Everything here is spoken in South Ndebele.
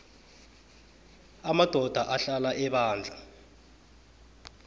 amadoda ahlala ebandla